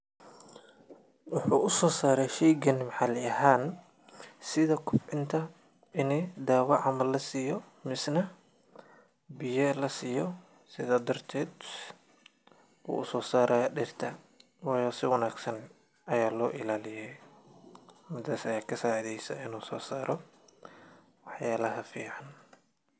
Wuxu usosaray sheygaan maaxali ahan sidha kobcinta ini dawa camal lasiyo, misnah biya lasiyo sida darted usosaraya diirta, wayo si wangsan aya loialiya, midas ama lasiyo waxyalaha aya fican.